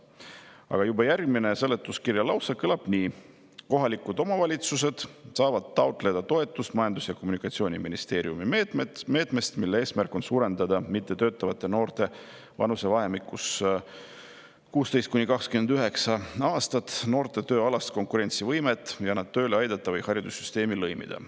Aga juba järgmine seletuskirja lause kõlab nii, et kohalikud omavalitsused saavad taotleda toetust Majandus- ja Kommunikatsiooniministeeriumi meetmest, mille eesmärk on suurendada mittetöötavate noorte vanusevahemikus 16–29 aastat tööalast konkurentsivõimet ja nad tööle aidata või haridussüsteemi lõimida.